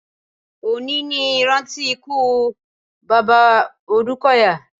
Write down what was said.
Òní ní ìrántí ikú bàbá Òdúkọ̀yà.